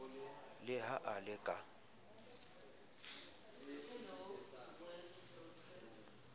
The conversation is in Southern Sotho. le ha a le ka